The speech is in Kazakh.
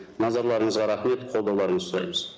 назарларыңызға рахмет қолдауларыңызды сұраймыз